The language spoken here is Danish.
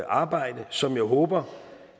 arbejde som jeg håber